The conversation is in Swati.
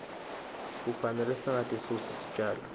kufanele singatisusi titjalo